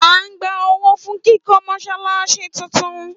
À ń gba owó fún kíkọ́ Mọ́ṣáláṣí tún tún